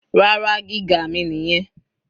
Rárá, gíga mi nìyẹn.